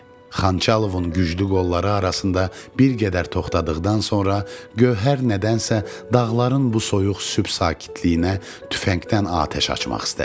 Xançalovun güclü qolları arasında bir qədər toxdadıqdan sonra gövhər nədənsə dağların bu soyuq sübh sakitliyinə tüfəngdən atəş açmaq istədi.